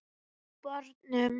Á barnum!